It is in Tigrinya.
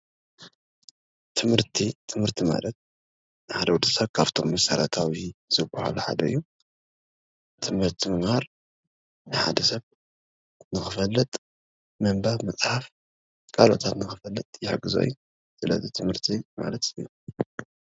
ትምህርቲ ትምህርቲ ማለት ሓደ ወዲሰብ ካብቶም መሰረታዊ ዝብሃሉ ሓደ እዩ፡፡ ትምህርቲ ምምሃር ሓደ ሰብ ንክፈልጥ ምንባብ ፣ ምፅሓፍ ካልኦታት ንክፈልጥ ዝሕግዞ እዩ፡፡ ስለዚ ትምህርቲ ምምሃር ኣድላይ እዩ፡፡